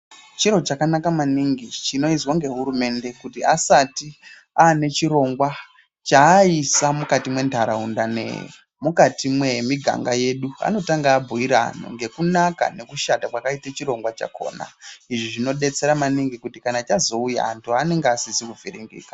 Chiro chakanaka maningi chinoizwa ngehurumende kuti asati ane chironga chaisa mukati menharaunda nemukati memuganga yedu. Anotanga abhuira antu ngekunaka ngekushata kwakaite chironga chakona. Izvi zvinobetsera maningi kuti kana chazouya antu anenge asizi kuviringika.